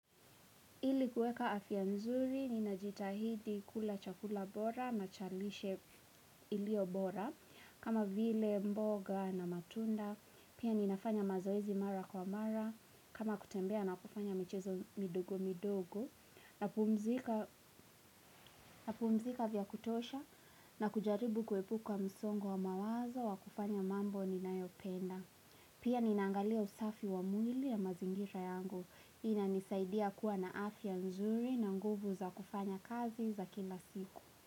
Ili kuweka afya nzuri, ninajitahidi kula chakula bora, na cha lishe iliyo bora, kama vile mboga na matunda, pia ninafanya mazoezi mara kwa mara, kama kutembea na kufanya michezo midogo midogo, napumzika vya kutosha, na kujaribu kuepuka msongo wa mawazo wa kufanya mambo ninayopenda. Pia ninaangalia usafi wa mwili ya mazingira yangu. Inanisaidia kuwa na afya nzuri na nguvu za kufanya kazi za kila siku.